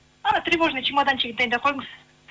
ана тревожный чемоданчигін дайындап қойыңыз